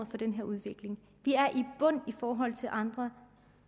for den her udvikling vi er i bund i forhold til andre